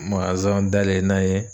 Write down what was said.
dayɛlɛ n'an ye